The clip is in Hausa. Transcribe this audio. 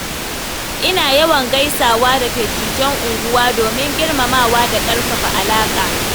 Ina yawan gaisawa da dattijan unguwa domin girmamawa da ƙarfafa alaƙa.